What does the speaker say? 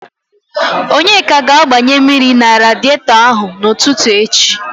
Onyeka ga-agbanye mmiri na radietọ ahụ n'ụtụtụ echi.